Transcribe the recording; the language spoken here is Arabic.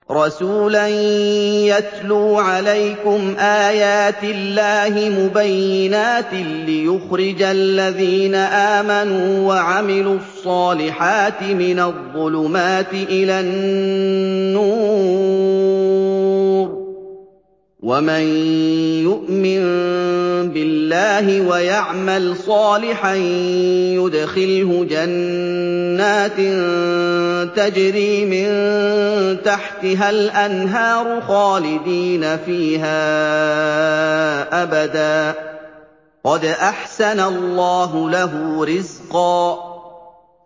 رَّسُولًا يَتْلُو عَلَيْكُمْ آيَاتِ اللَّهِ مُبَيِّنَاتٍ لِّيُخْرِجَ الَّذِينَ آمَنُوا وَعَمِلُوا الصَّالِحَاتِ مِنَ الظُّلُمَاتِ إِلَى النُّورِ ۚ وَمَن يُؤْمِن بِاللَّهِ وَيَعْمَلْ صَالِحًا يُدْخِلْهُ جَنَّاتٍ تَجْرِي مِن تَحْتِهَا الْأَنْهَارُ خَالِدِينَ فِيهَا أَبَدًا ۖ قَدْ أَحْسَنَ اللَّهُ لَهُ رِزْقًا